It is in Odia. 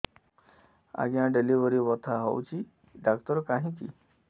ଆଜ୍ଞା ଡେଲିଭରି ବଥା ହଉଚି ଡାକ୍ତର କାହିଁ କି